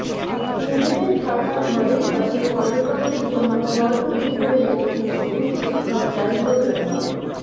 নিজেদের থাকার ঘরের পাশে পর্যটকদের জন্য ঘর তৈরি করে রেখেছেন স্কুল শিক্ষক জাহিদুর রহমান